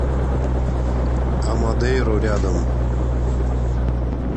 амодейру рядом